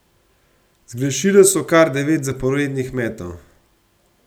Zgrešile so kar devet zaporednih metov.